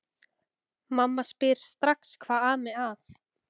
Mamma spyr strax hvað ami að.